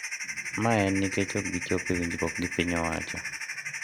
Ma en nikech ok gichopo e winjruok gi piny owacho.